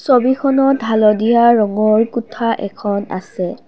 ছবিখনত হালধীয়া ৰঙৰ কোঠা এখন আছে।